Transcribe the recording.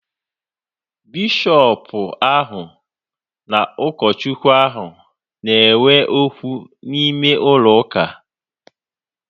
Bishọpu ahu na ụkọ Chukwu ahu na ekwu okwu n'ime ụlọ ụka